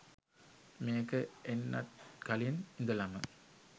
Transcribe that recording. මේක එන්නත් කලින් ඉදලම